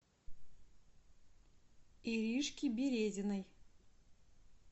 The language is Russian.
иришке березиной